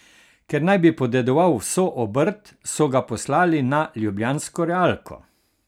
Ker naj bi podedoval vso obrt, so ga poslali na ljubljansko realko.